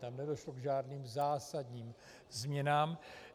Tam nedošlo k žádným zásadním změnám.